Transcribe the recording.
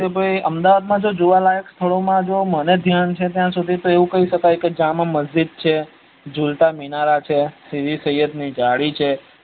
કે ભાઈ જો અમદાવાદ ના જોવાલાયક સ્થળો માં મને ધ્યાન છે ત્યાં સુધી એવું કઇ સકાય જામા મજીદ છ જુલતા મિનારા છે સીદી સૈયદ ની જાળી છે